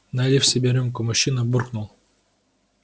налив себе рюмку мужчина буркнул